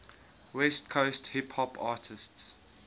west coast hip hop artists